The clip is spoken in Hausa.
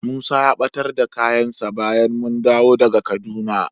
Musa ya ɓatar da kayansa bayan mun dawo daga Kaduna.